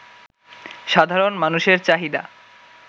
সাধারণ মানুষের চাহিদা